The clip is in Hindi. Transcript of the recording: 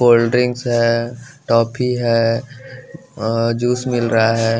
कोल्डड्रिंकस है टॉफी है अ जूस मिल रहा है।